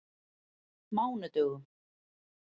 mánudögum